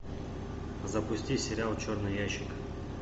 запусти сериал черный ящик